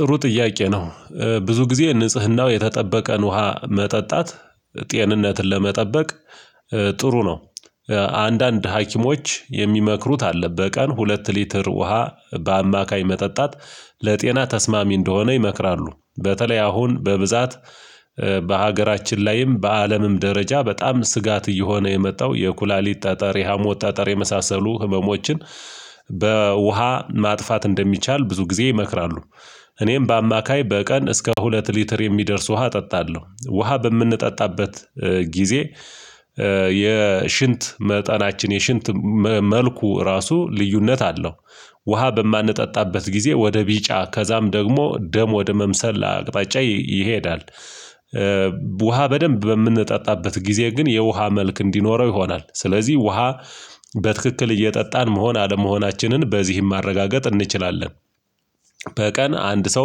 ጥሩ ጥያቄ ነው? ብዙ ጊዜ ንጽህናው የተጠበቀን ውሃ መጠጣት ጤንነትን ለመጠበቅ ጥሩ ነው። አንዳንድ ሀኪሞች የሚመክሩት አለ በቀን ሁለት ሊትር ውሃ በአማካኝ መጠጣት ለጤና ተስማሚ እንደሆነ ይመክራሉ በተለይ አሁን በብዛት በሀገራችን ላይም በአለምም ደረጃ በጣም ስጋት እየሆነ የመጣው የኩላሊት ጠጠር የሀሞት ጠጠር የመሳሰሉ ህመሞችን በውሃ ማጥፋት እንደሚቻል ብዙ ጊዜ ይመክራሉ። እኔም በአማካይ በቀን እስከ ሁለት ሊትር የሚደርስ ውሃ እጠጣለሁ ውሃ በምንጠጣበት ጊዜ የሽንት መጠናችን የሽንት መልኩ ራሱ ልዩነት አለው። ውሃ በማንጠጣበት ጊዜ ወደ ቢጫ ከዛም ደግሞ ደም ወደ መምሰል አቅጣጫ ይሄዳል። ውሃ በደንብ በምንጠጣበት ጊዜ ግን የውሃ መልክ እንዲኖረው ይሆናል ስለዚህ ውሃ በትክክል እየጠጣን መሆን አለመሆናችንን በዚህም ማረጋገጥ እንችላለን። በቀን አንድ ሰው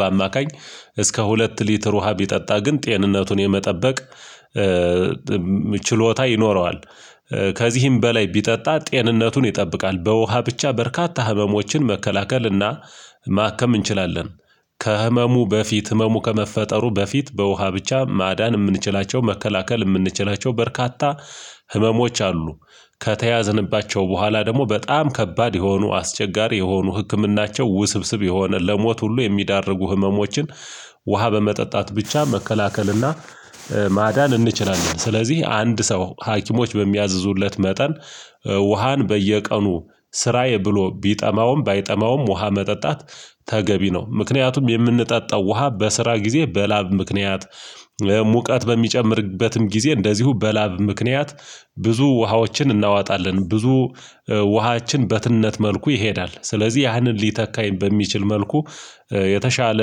በአማካኝ እስከ ሁለት ሊትር ውሃ ቢጠጣ ግን ጤንነቱን የመጠበቅ ችሎታ ይኖረዋል። ከዚህም በላይ ቢጠጣ ጤንነቱን ይጠብቃል በውሃ ብቻ በርካታ ህመሞችን መከላከልና ማከም እንችላለን። ከህመሙ በፊት ህመሙ ከመፈጠሩ በፊት በውሃ ብቻ ማዳን የምንችላቸው መከላከል የምንችላቸው በርካታ ህመሞች አሉ። ከተያዝንባቸው በኋላ ደግሞ በጣም ከባድ የሆኑ አስቸጋሪ የሆኑ ህክምናቸው ውስብስብ የሆነ ለሞት ሁሉ የሚያዳርጉ ህመሞችን ውሃ በመጠጣት ብቻ መከላከልና ማዳን እንችላለን። ስለዚህ አንድ ሰው ሀኪሞች በሚያዝዙለት መጠን ውሃን በየቀኑ ስራዬ ብሎ ቢጠማውም ባይጠማውም ውሃ መጠጣት ተገቢ ነው። ምክንያቱም የምንጠጣው ውሃ በስራ ጊዜ በላብ ምክንያት ሙቀት በሚጨምርበትም ጊዜ እንደዚሁ በላብ ምክንያት ብዙ ውሃዎችን እናዋጣለን ብዙ ውሃችን በትነት መልኩ ይሄዳል ስለዚህ ያንን ሊተካ በሚችል መልኩ የተሻለ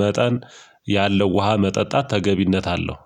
መጠን ያለው ውሃ መጠጣት ተገቢነት አለው